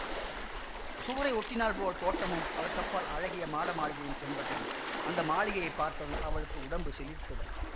சுவரை ஒட்டினாற்போல் தோட்டமும் அதற்கப்பால் அழகிய மாடமாளிகையும் தென்பட்டன அந்த மாளிகையை பார்த்ததும் அவளுக்கு உடம்பு சிலிர்த்தது